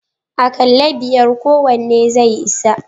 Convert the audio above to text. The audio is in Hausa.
Akalla biyar kowanne zai isa.